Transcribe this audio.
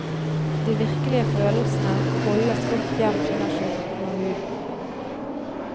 De virkelige følelsene holdes godt gjemt under skjorten og huden.